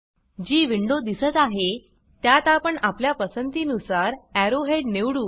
जी window दिसत आहे त्यात आपण आपल्या पसंती नुसार एरो हेड निवडू